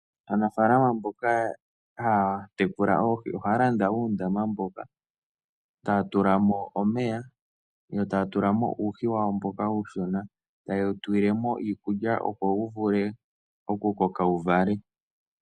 Aanafalama mboka haya tekula oohi ohaya landa uundama mboka taya tula mo omeya, yo taya tula mo uuhi wawo mboka uushona, taye wu tulile mo iikulya, opo wu vule okukoka wu vale.